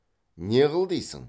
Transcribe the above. не қыл дейсің